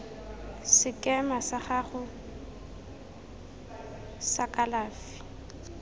sekema sa gago sa kalafi